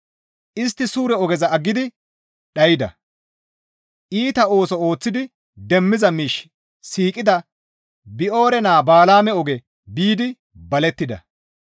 Istti suure ogeza aggidi dhayda; iita ooso ooththidi demmiza miish siiqida Bi7oore naa Bala7aame oge biidi balettida.